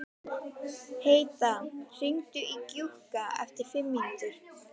Heida, hringdu í Gjúka eftir fimm mínútur.